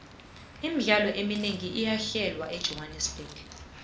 imidlalo eminengi iyahlelwa ejohannerbuxg